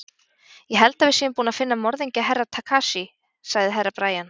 Ég held að við séum búin að finna morðingju Herra Takashi, sagði Herra Brian.